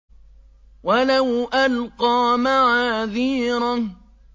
وَلَوْ أَلْقَىٰ مَعَاذِيرَهُ